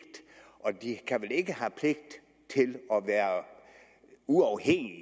de kan vel ikke have pligt til at være uafhængige